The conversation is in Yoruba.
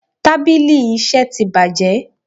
Tábìlì iṣẹ́ tí bàjé.